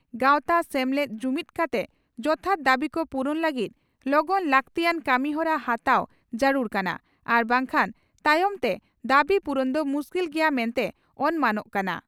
ᱜᱟᱣᱛᱟ/ᱥᱮᱢᱞᱮᱫ ᱡᱩᱢᱤᱫᱽ ᱠᱟᱛᱮ ᱡᱚᱛᱷᱟᱛ ᱫᱟᱹᱵᱤᱠᱚ ᱯᱩᱨᱩᱱ ᱞᱟᱹᱜᱤᱫ ᱞᱚᱜᱚᱱ ᱞᱟᱜᱛᱤᱭᱟᱱ ᱠᱟᱹᱢᱤᱦᱚᱨᱟ ᱦᱟᱛᱟᱣ ᱡᱟᱹᱨᱩᱲ ᱠᱟᱱᱟ ᱟᱨ ᱵᱟᱝᱠᱷᱟᱱ ᱛᱟᱭᱚᱢᱛᱮ ᱫᱟᱹᱵᱤ ᱯᱩᱨᱩᱱ ᱫᱚ ᱢᱩᱥᱠᱤᱞ ᱜᱮᱭᱟ ᱢᱮᱱᱛᱮ ᱚᱱᱢᱟᱱᱚᱜ ᱠᱟᱱᱟ ᱾